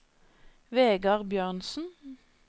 Vegar Bjørnsen